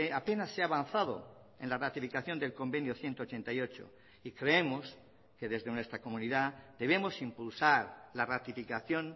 apenas se ha avanzado en la ratificación del convenio ciento ochenta y ocho y creemos que desde nuestra comunidad debemos impulsar la ratificación